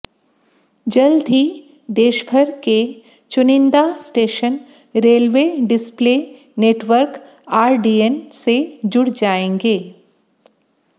जल्द ही देशभर के चुनिंदा station railway display network RDN से जुड़ जाएंगे